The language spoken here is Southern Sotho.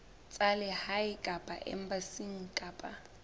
tsa lehae kapa embasing kapa